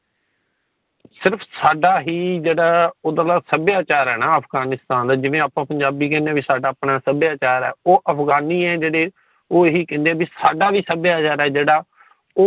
ਸਿਰਫ ਸਾਡਾ ਹੀ ਜੇੜਾ ਓਧਰ ਦਾ ਸੱਭਿਆਚਾਰ ਹੈ ਨਾ ਅਫ਼ਗ਼ਾਨਿਸਤਾਨ ਜਿਵੇਂ ਆਪਾ ਪੰਜਾਬੀ ਕਹਿੰਦੇ ਸਾਡਾ ਆਪਣਾ ਸੱਭਿਆਚਾਰ ਹੈ ਉ ਅਫ਼ਗ਼ਾਨਿ ਹੈ ਜੇੜੇ ਓਹ ਇਹੀ ਕੇਦੇ ਸਾਡਾ ਵੀ ਸੱਭਿਆਚਾਰ ਆ ਜੇੜਾ